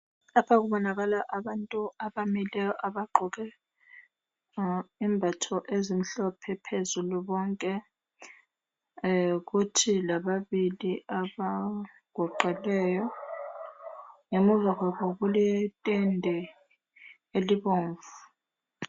Lapha kubonakala abantu abamileyo abagqoke izembatho ezimhlophe phezulu bonke. Kuthi lababili abaguqileyo. Ngemuva kwabo kuletende elibomvu.